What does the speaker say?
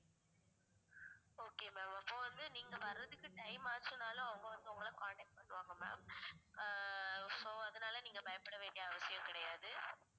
okay ma'am அப்போ வந்து நீங்க வர்றதுக்கு time ஆச்சுன்னாலும் அவுங்க வந்து உங்கள contact பண்ணுவாங்க ma'am ஆ so அதனால நீங்க பயப்பட வேண்டிய அவசியம் கிடையாது